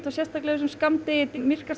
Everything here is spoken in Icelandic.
sérstaklega í þessu skammdegi